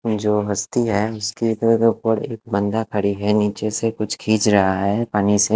जो हस्ती है उसके इधर ऊपर एक बंदा खड़ी है नीचे से कुछ खींच रहा है पानी से--